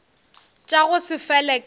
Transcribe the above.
tša go se fele ka